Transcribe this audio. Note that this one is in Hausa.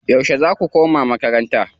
Yauce zaa ku koma makaranta?